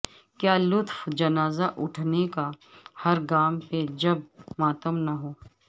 کیا لطف جنازہ اٹھنے کا ہر گام پہ جب ماتم نہ ہو